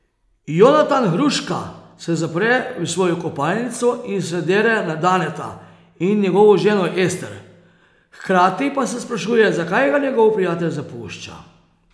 Jonatan Hruška se zapre v svojo kopalnico in se dere na Daneta in njegovo ženo Ester, h krati pa se sprašuje zakaj ga njegov prijatelj zapušča.